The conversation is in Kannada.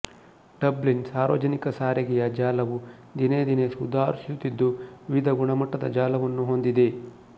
ಡಬ್ಲಿನ್ ಸಾರ್ವಜನಿಕ ಸಾರಿಗೆಯ ಜಾಲವು ದಿನೇ ದಿನೇ ಸುಧಾರಿಸುತ್ತಿದ್ದು ವಿವಿಧ ಗುಣಮಟ್ಟದ ಜಾಲವನ್ನು ಹೊಂದಿದೆ